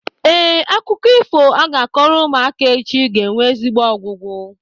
Ee, akụkọ ifo a ga-akọrọ ụmụaka echi ga-enwe ezigbo ọgwụgwụ.